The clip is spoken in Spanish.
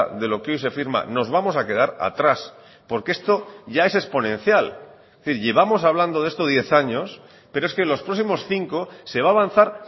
de lo que hoy se firma nos vamos a quedar atrás porque esto ya es exponencial es decir llevamos hablando de esto diez años pero es que los próximos cinco se va a avanzar